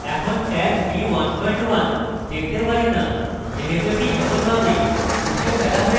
এখন tag v11 দেখতে পারি now যেহেতু এটি সফলভাবে মুছে ফেলা হয়েছে